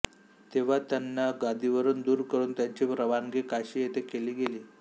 तेव्हा त्यांना गादीवरून दूर करून त्यांची रवानगी काशी येथे केली गेली